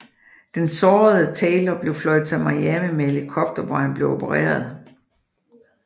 Den sårede Taylor blev fløjet til Miami med helikopter hvor han blev opereret